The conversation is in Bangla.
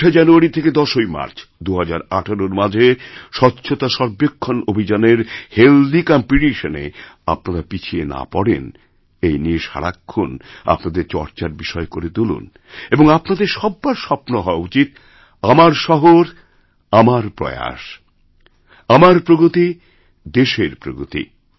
৪ঠা জানুয়ারি থেকে ১০ই মার্চ ২০১৮র মাঝে স্বচ্ছতাসর্বেক্ষণ অভিযানের হেলথি কম্পিটিশন এ আপনারা পিছিয়ে নাপড়েন এই নিয়ে সারাক্ষণ আপনাদের চর্চার বিষয় করে তুলুন এবং আপনাদের সব্বার স্বপ্নহওয়া উচিত আমার শহর আমার প্রয়াস আমার প্রগতি দেশের প্রগতি